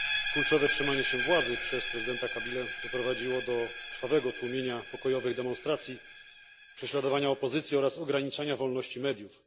Kurczowe trzymanie się władzy przez prezydenta Kabilę doprowadziło do krwawego tłumienia pokojowych demonstracji, prześladowania opozycji oraz ograniczania wolności mediów.